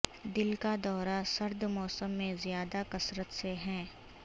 دل کا دورہ سرد موسم میں زیادہ کثرت سے ہیں